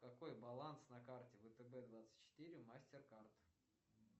какой баланс на карте втб двадцать четыре мастеркард